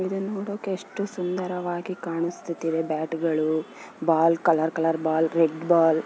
ಇದು ನೋಡಕ್ಕೆ ಎಷ್ಟು ಸುಂದರವಾಗಿ ಕಾಣಿಸುತ್ತಿದೆ ಬ್ಯಾಟ್ ಗಳು ball colour colour ball red ball --